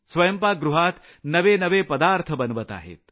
स्वंयपाकगृहात नवे नवे पदार्थ बनवत आहेत